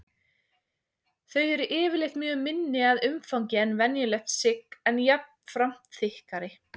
Þau eru yfirleitt mun minni að umfangi en venjulegt sigg en jafnframt þykkari.